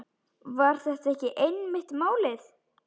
Var þetta ekki einmitt málið?